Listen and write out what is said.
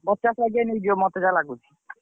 ପଚାଶ ବାଗିଆ ନେଇଯିବ ମତେ ଯାହା ଲାଗୁଛି।